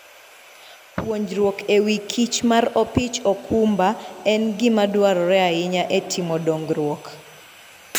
Puonjruok e wi kich mar opich okumba en gima dwarore ahinya e timo dongruok.